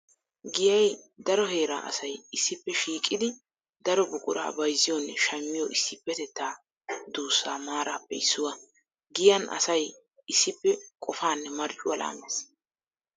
Giyay daro heera asay issippe shiiqiddi daro buqura bayzziyonne shammiyo issipetetta duussa maarappe issuwa. Giyan asay issippe qofanne marccuwa laames.